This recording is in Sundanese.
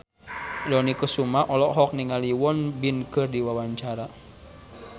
Dony Kesuma olohok ningali Won Bin keur diwawancara